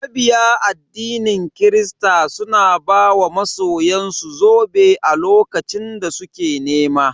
Mabiya addinin kirista suna ba wa masoyan su zobe a lokacin da suke nema.